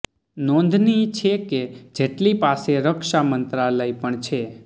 નોંધનીય છે કે જેટલી પાસે રક્ષા મંત્રાલય પણ છે